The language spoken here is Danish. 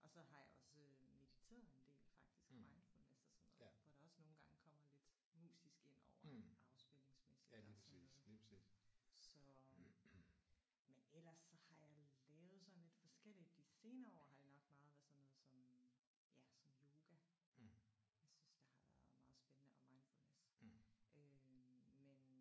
Og så har jeg også øh mediteret en del faktisk mindfulness og sådan noget hvor der også nogle gange kommer lidt musisk indover afspændingsmæssigt og sådan noget så men ellers så har jeg lavet sådan lidt forskelligt. De senere år har det nok meget været sådan noget som ja som yoga. Jeg synes der har været meget spændende og mindfulness